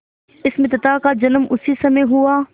इस मित्रता का जन्म उसी समय हुआ